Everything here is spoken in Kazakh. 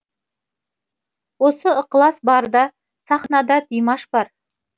осы ықылас барда сахнада димаш бар